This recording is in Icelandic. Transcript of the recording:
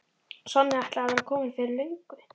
Sonja ætlaði að vera komin fyrir löngu.